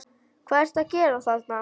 HVAÐ ERTU AÐ GERA ÞARNA!